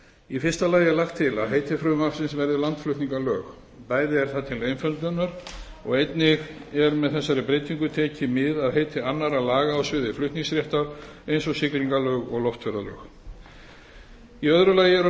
í fyrsta lagi er lagt til að heiti frumvarpsins verði landflutningalög bæði er það til einföldunar og einnig er með þessari breytingu tekið mið af heiti annarra laga á sviði flutningaréttar eins og siglingalög og loftferðalög í öðru lagi eru